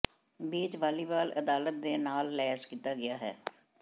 beach volleyball ਅਦਾਲਤ ਨੇ ਨਾਲ ਲੈਸ ਕੀਤਾ ਗਿਆ ਹੈ